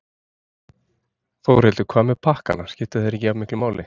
Þórhildur: Hvað með pakkana, skipta þeir ekki jafnmiklu máli?